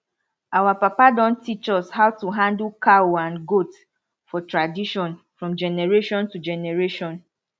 our papa don teach us how to handle cow and goat for tradition from generation to generation